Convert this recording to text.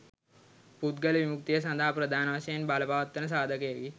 පුද්ගල විමුක්තිය සඳහා ප්‍රධාන වශයෙන් බලපවත්වන සාධකයකි